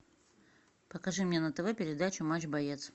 покажи мне на тв передачу матч боец